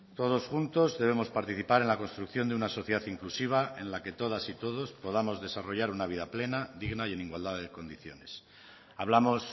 todos juntos debemos participar en la construcción de una sociedad inclusiva en la que todas y todos podamos desarrollar una vida plena digna y en igualdad de condiciones hablamos